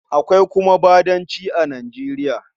Akwai kuma Badanci a Nijeriya.